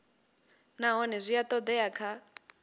nahone zwi a oea kha